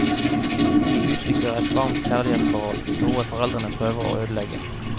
De utvikler et varmt kjærlighetsforhold, noe foreldrene prøver å ødelegge.